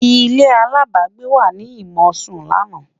ilé alábágbé wà nì mọ sùn lànà